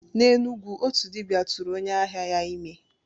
N'Enugwu, otu dibia tụrụ onye ahịa ya ime.